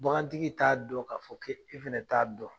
Bagan tigi t'a dɔn k'a fɔ ke e fana t'a dɔn.